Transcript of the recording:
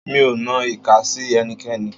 Mi ò nan ìka sí ẹnikẹ́ni.